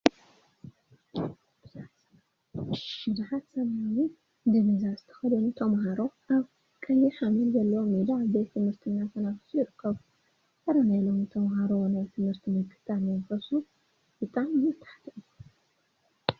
ቡዙሓት ሰማያዊ ዲቪዛ ዝተከደኑ ተምሃሮ አብ ቀይሕ ሓመድ ዘለዎ ሜዳ ቤት ትምህርቲ እናተናፈሱ ይርከቡ፡፡ አረ! ናይ ሎሚ ተማሃሮ ናይ ትምህርቲ ምክታታል መንፈሱ ብጣዕሚ ዝተሓተ እዩ፡፡